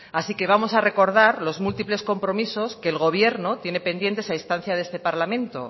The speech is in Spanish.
así que vamos a recordar los múltiples compromisos que el gobierno tiene pendientes a instancia de este parlamento